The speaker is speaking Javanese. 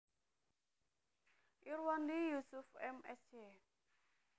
Irwandi Yusuf M Sc